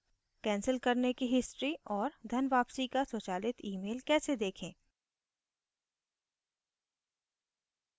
cancel करने की history और धन वापसी का स्वचालित email कैसे देखें